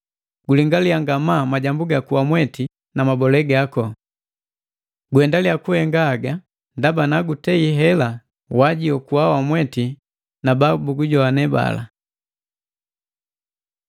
Gulingaliya ngamaa majambu gaku wamweti na mabolee gaku. Guendaliya kuhenga haga, ndaba nagutei hela, wajiokua wamweti na bala babugujowane.